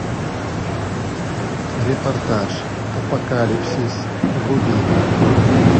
репортаж апокалипсис вруби